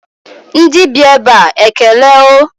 Ndị bi ebe a ekele o